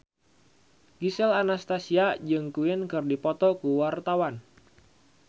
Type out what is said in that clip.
Gisel Anastasia jeung Queen keur dipoto ku wartawan